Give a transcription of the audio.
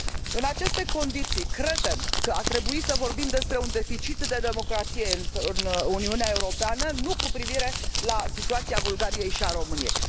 În aceste condiții, credem că ar trebui să vorbim despre un deficit de democrație în Uniunea Europeană, nu cu privire la situația Bulgariei și a României.